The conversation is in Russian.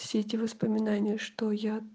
все эти воспоминания что я